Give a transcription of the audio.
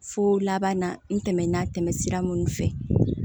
Fo laban na n tɛmɛna tɛmɛ sira minnu fɛ